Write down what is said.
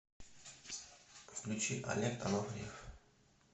включи олег анофриев